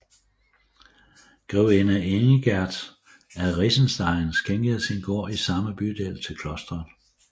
Grevinde Ingerd af Regenstein skænkede sin gård i samme bydel til klosteret